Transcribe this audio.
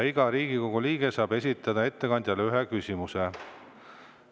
Iga Riigikogu liige saab ettekandjale esitada ühe küsimuse.